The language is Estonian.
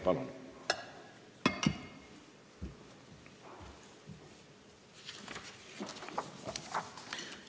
Palun!